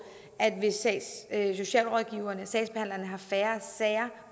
at socialrådgiverne sagsbehandlerne har færre sager